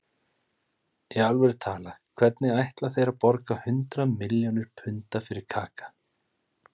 Í alvöru talað, hvernig ætla þeir að borga hundrað milljónir punda fyrir Kaka?